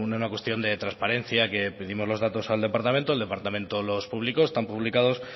una cuestión de transparencia que pedimos los datos al departamento el departamento los publicó están publicados